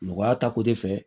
Nɔgɔya ta ko de fɛ